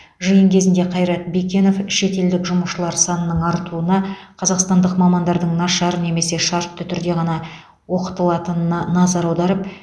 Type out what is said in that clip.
жиын кезінде қайрат бекенов шетелдік жұмысшылар санының артуына қазақстандық мамандардың нашар немесе шартты түрде ғана оқытылатынына назар аударып